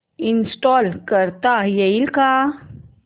install करता येईल का